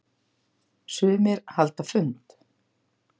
Sumir halda fund.